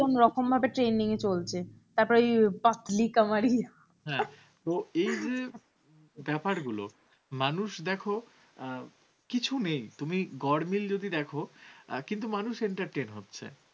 ব্যাপারগুলো, মানুষ দেখো কিছু নেই। তুমি গরমিল যদি দেখো আর কিন্তু মানুষের entertain হচ্ছে,